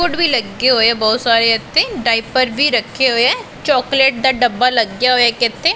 ਵੀ ਲੱਗੇ ਹੋਏ ਆ ਬਹੁਤ ਸਾਰੇ ਇੱਥੇ ਡਾਈਪਰ ਵੀ ਰੱਖੇ ਹੋਏ ਐ ਚੋਕਲੇਟ ਦਾ ਡੱਬਾ ਲੱਗਿਆ ਹੋਇਐ ਇੱਕ ਇੱਥੇ।